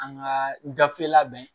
An ka gafe labɛn